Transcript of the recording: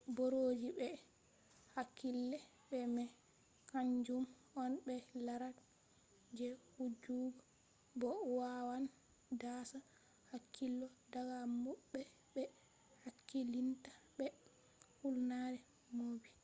boroji be hakkilai be mai kaanjum on ɓe larat je wujjugo bo wawan daasa hakkilo daga mauɓe be hakkilinta be hulnare bomji